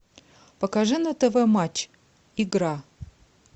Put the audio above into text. покажи на тв матч игра